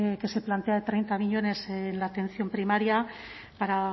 que se plantea de treinta millónes en la atención primaria para